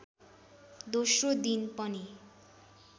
दोस्रो दिन पनि